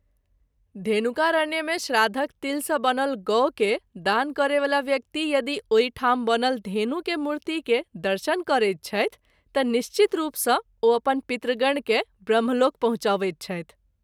धेनुकारण्य मे श्राद्धक’ तील सँ बनल गौ के दान करय वाला व्यक्ति यदि ओहि ठाम बनल धेनु के मूर्ति के दर्शन करैत छथि त’ निश्चित रूप सँ ओ अपन पितृगण के ब्रह्मलोक पहुँचबैत छथि।